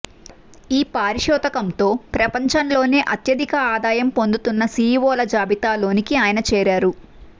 ఈ పారితోషికంతో ప్రపంచంలోనే అత్యధిక ఆదాయం పొందుతున్న సీఈవోల జాబితాలోనికి ఆయన చేరారు